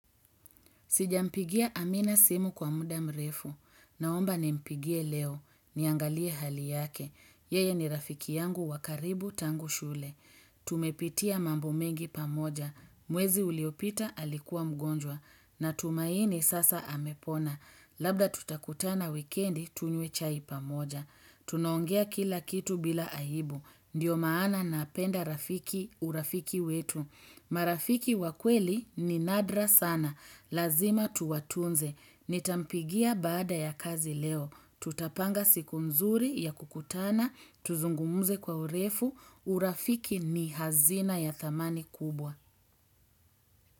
Sijampigia amina simu kwa muda mrefu. Naomba ni mpigie leo. Niangalie hali yake. Yeye ni rafiki yangu wa karibu tangu shule. Tumepitia mambo mengi pamoja. Mwezi uliopita alikuwa mgonjwa. Na tumaini sasa amepona. Labda tutakutana wikendi tunywe chai pamoja. Tunaongea kila kitu bila ahibu. Ndiyo maana napenda rafiki urafiki wetu. Marafiki wakweli ni nadra sana. Lazima tuwatunze. Nitampigia baada ya kazi leo. Tutapanga siku mzuri ya kukutana. Tuzungumuze kwa urefu. Urafiki ni hazina ya thamani kubwa.